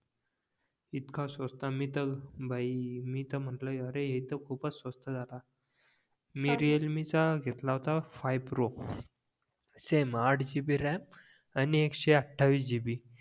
इतका स्वस्त मी तर भाई मी तर म्हंटलं अरे हे तर खूपच स्वस्त झाला मी रिअलमी चा घेतला होता फाय प्रो सेम आट gb रॅम आणि एकशेअठावीस gb